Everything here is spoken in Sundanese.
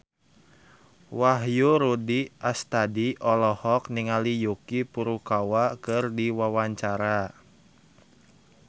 Wahyu Rudi Astadi olohok ningali Yuki Furukawa keur diwawancara